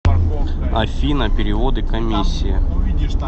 афина переводы комиссия